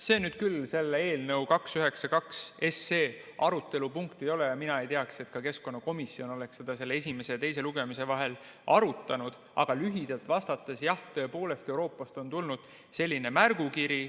See nüüd küll eelnõu 292 arutelu punkt ei ole ja mina ei tea, et ka keskkonnakomisjon oleks seda selle esimese ja teise lugemise vahel arutanud, aga lühidalt vastates: jah, tõepoolest, Euroopast on tulnud selline märgukiri.